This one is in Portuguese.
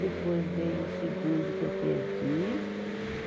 Depois veio o segundo, que eu perdi.